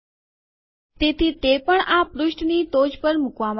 તેથી તે પણ આ પૃષ્ઠની ટોચ પર મૂકવામાં આવ્યું છે